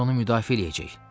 Biz onu müdafiə eləyəcəyik.